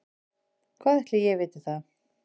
Hvað ætli ég viti það.